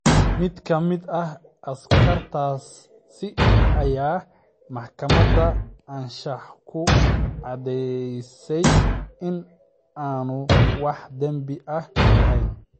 Mid ka mid ah askartaasi ayaa maxkamadda anshaxu ku caddaysay in aanu wax dambi ah lahayn.